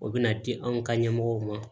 O bɛna di an ka ɲɛmɔgɔw ma